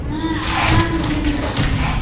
ಹಾ ಆರಾಮಿದಿನಿ ನೋಡ್ರಿ ಪಾ ನಾನು.